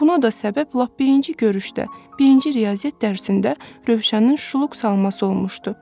Buna da səbəb lap birinci görüşdə, birinci riyaziyyat dərsində Rövşənin şuluq salması olmuşdu.